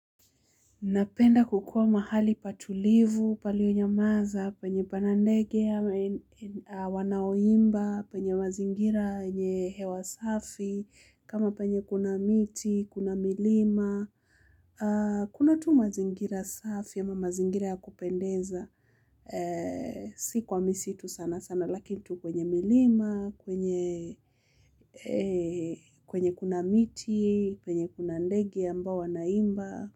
Napenda kukua mahali patulivu, palionyamaza, penye pana ndege ama wanaoimba, penye mazingira yenye hewa safi, kama penye kuna miti, kuna milima. Kuna tu mazingira safi ama mazingira ya kupendeza. Si kwa misitu sana sana, lakini tu kwenye milima, kwenye kuna miti kwenye kuna ndege wanaimba.